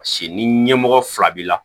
Paseke ni ɲɛmɔgɔ fila b'i la